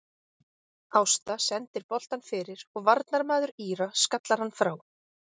Ásta sendir boltann fyrir og varnarmaður Íra skallar hann frá.